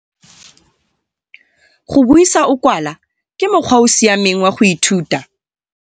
Go buisa o kwala ke mokgwa o o siameng wa go ithuta.